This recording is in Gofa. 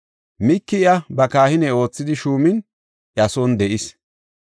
Miiki iya ba kahine oothidi shuumin iya son de7is.